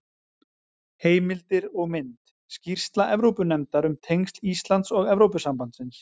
Heimildir og mynd: Skýrsla Evrópunefndar um tengsl Íslands og Evrópusambandsins.